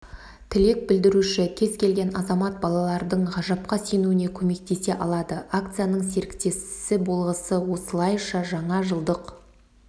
тілек білдіруші кез келген азамат балалардың ғажапқа сенуіне көмектесе алады акцияның серіктесі болғысы осылайша жаңа жылдық